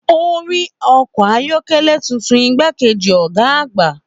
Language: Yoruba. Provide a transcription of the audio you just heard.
Ó rí ọkọ̀ ayọ́kẹ́lẹ́ tuntun igbákejì ọ̀gá àgbà.